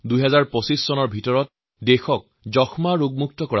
২০২৫ চনৰ ভিতৰত দেশক যক্ষ্মামুক্ত কৰাৰ লক্ষ্য লোৱা হৈছে